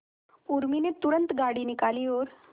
उर्मी ने तुरंत गाड़ी निकाली और